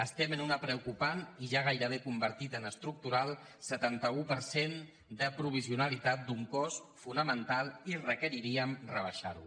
estem en un preocupant i ja gairebé convertit en estructural setanta un per cent de provisionalitat d’un cos fonamental i requeriríem rebaixar ho